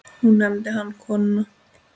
Nú nefndi hann konuna